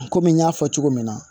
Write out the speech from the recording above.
Komi n y'a fɔ cogo min na